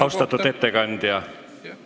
Austatud ettekandja!